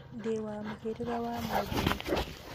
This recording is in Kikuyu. Ndĩwa mũhĩrĩga wa mũndũ mũka